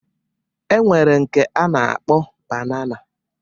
E nwere nke a na-akpọ banana